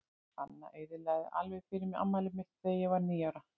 Anna eyðilagði alveg fyrir mér afmælið mitt þegar ég varð níu ára.